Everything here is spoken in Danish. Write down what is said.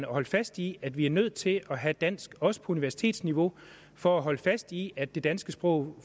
holde fast i at vi er nødt til at have dansk også på universitetsniveau for at holde fast i at det danske sprog